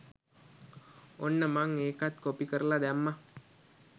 ඔන්න මං ඒකත් කොපි කරලා දැම්මා